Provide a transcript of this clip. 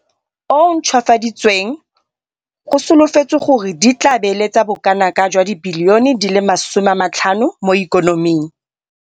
o o Ntšhwafaditsweng go solofetswe gore di tla beeletsa bokanaka R50 bilione mo ikonoming.